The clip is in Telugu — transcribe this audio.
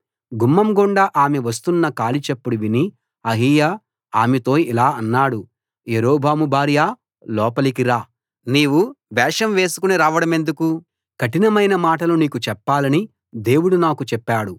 గుమ్మం గుండా ఆమె వస్తున్న కాలి చప్పుడు విని అహీయా ఆమెతో ఇలా అన్నాడు యరొబాము భార్యా లోపలికి రా నీవు వేషం వేసుకుని రావడం ఎందుకు కఠినమైన మాటలు నీకు చెప్పాలని దేవుడు నాకు చెప్పాడు